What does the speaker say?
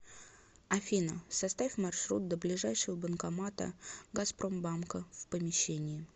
афина составь маршрут до ближайшего банкомата газпромбанка в помещении